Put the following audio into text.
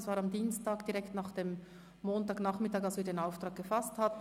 Das war am Dienstag direkt nach dem Montagnachmittag, als wir den Auftrag erhalten hatten.